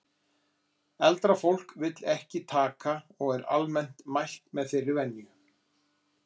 Eldra fólk vill ekki taka.og er almennt mælt með þeirri venju